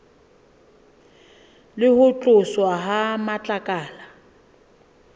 le ho tloswa ha matlakala